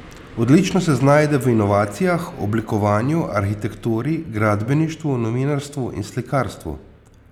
Odlično se znajde v inovacijah, oblikovanju, arhitekturi, gradbeništvu, novinarstvu in slikarstvu.